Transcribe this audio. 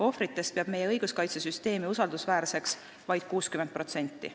Ohvritest peab meie õiguskaitsesüsteemi usaldusväärseks vaid 60%.